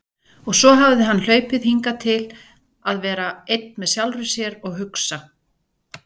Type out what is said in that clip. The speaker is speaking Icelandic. Og svo hafði hann hlaupið hingað til að vera einn með sjálfum sér og hugsa.